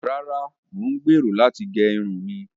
Ràrà, Mo n gbero lati ge irun mi